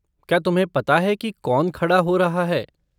क्या तुम्हें पता है कि कौन खड़ा हो रहा है?